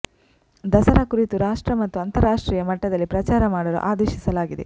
ದಸರಾ ಕುರಿತು ರಾಷ್ಟ್ರ ಮತ್ತು ಅಂತಾರಾಷ್ಟ್ರೀಯ ಮಟ್ಟದಲ್ಲಿ ಪ್ರಚಾರ ಮಾಡಲು ಆದೇಶಿಸಲಾಗಿದೆ